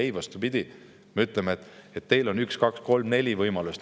Ei, vastupidi, me ütleme, et neil on üks, kaks, kolm või neli võimalust.